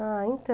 Ah,